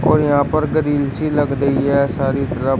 और यहां पर ग्रील सी लग रही है सारी तरफ।